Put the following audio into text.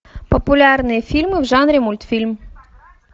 популярные фильмы в жанре мультфильм